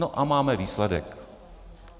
No a máme výsledek.